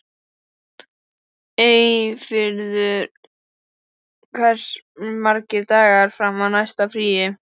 Eyfríður, hversu margir dagar fram að næsta fríi?